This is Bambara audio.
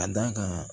A da kan